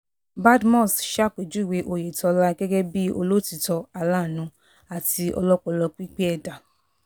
badmus ṣàpèjúwe oyetola gẹ́gẹ́ bíi olótìtọ́ aláàánú àti ọlọ́pọlọ pípé ẹ̀dá